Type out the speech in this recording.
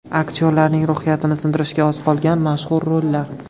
Aktyorlarning ruhiyatini sindirishiga oz qolgan mashhur rollar .